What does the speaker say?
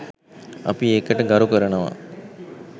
අපි ඒකට ගරු කරනව